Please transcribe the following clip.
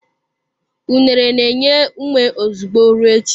Unere na-enye ume ozugbo, ruo echi.